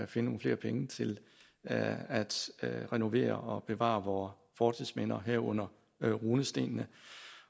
finde nogle flere penge til at renovere og bevare vore fortidsminder herunder runestenene